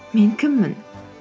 мен кіммін